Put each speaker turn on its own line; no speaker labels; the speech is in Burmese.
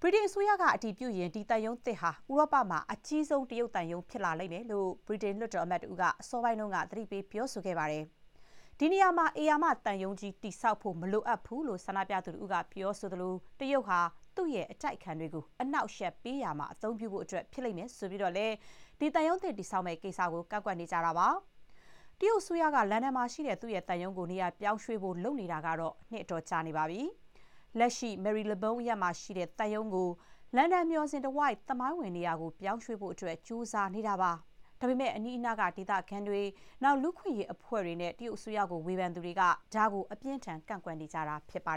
ဗြိတိန်အစိုးရက အတည်ပြုရင် ဒီသံရုံးသစ်ဟာ ဥရောပမှာ အကြီးဆုံး တရုတ်သံရုံး ဖြစ်လိမ့်မယ်လို့ ဗြိတိန် လွှတ်တော်အမတ် တဦးက အစောပိုင်းက သတိပေး ပြောဆိုခဲ့ပါတယ်။ ဒီနေရာမှာ ဧရာမ သံရုံးကြီး တည်ဆောက်ဖို့ မလိုအပ်ဘူးလို့ ဆန္ဒပြသူ တဦးက ပြောသလို၊ တရုတ်ဟာ သူ့ရဲ့ အတိုက်အခံတွေကို အနှောက်အယှက် ပေးရာမှာ အသုံးပြုဖို့ ဖြစ်လိမ့်မယ်လို့ ဆိုပြီး သံရုံးသစ် တည်ဆောက်မယ့် ကိစ္စကို ကန့်ကွက်နေကြတာပါ။ တရုတ်အစိုးရက လန်ဒန်မှာရှိတဲ့ သူ့ရဲ့သံရုံးကို နေရာပြောင်းရွှေ့ဖို့ လုပ်နေတာကတော့ နှစ်အတော်ကြာနေပါပြီ။ လက်ရှိ မယ်ရီလဘုန်း Marylebone အရပ်မှာရှိတဲ့ သံရုံးကို လန်ဒန်မျှော်စင် တဝိုက် သမိုင်းဝင် နေရာကို ပြောင်းရွှေ့ဖို့ ကြိုးစားနေတာပါ။ ဒါပေမဲ့ အနီးအနား ဒေသခံတွေ၊ လူ့အခွင့်အရေး အဖွဲ့တွေနဲ့ တရုတ်အစိုးရကို ဝေဖန်သူတွေက ဒါကို အပြင်းအထန် ကန့်ကွက်နေကြတာ ဖြစ်ပါ